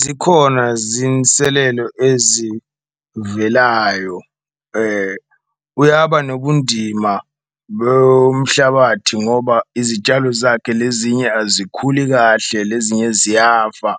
Zikhona zinselelo ezivelayo uyaba nobundima lomhlabathi ngoba izitshalo zakhe lezinye azikhuli kahle, lezinye ziyafa